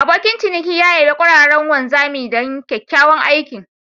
Abokin ciniki ya yabe ƙwararren wanzami don kyakkyawan aikin.